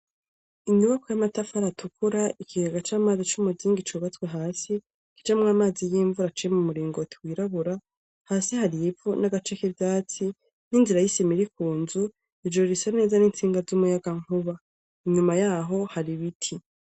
Inyubakwa y'amatafari atukura, ikigega c'amazi c'umuzingi, cubatswe hasi, kijamwo amazi y'imvura aciye mumuringoti wirabura, hasi harivu, nagace kivyatsi ninzira y''sima iri kunzu, ijuru risa neza, nintsinga z'umuyagankuba ,inyuma yaho hari ibiti.